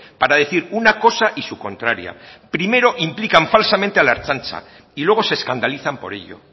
para decir una cosa y su contraria primero implican falsamente a la ertzaintza y luego se escandalizan por ello